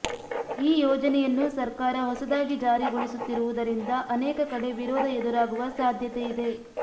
ಈ ಯೋಜನೆಯನ್ನು ಸರ್ಕಾರ ಹೊಸದಾಗಿ ಜಾರಿಗೊಳಿಸುತ್ತಿರುವುದರಿಂದ ಅನೇಕ ಕಡೆ ವಿರೋಧ ಎದುರಾಗುವ ಸಾಧ್ಯತೆ ಇದೆ